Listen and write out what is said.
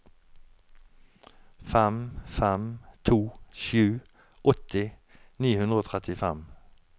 fem fem to sju åtti ni hundre og trettifem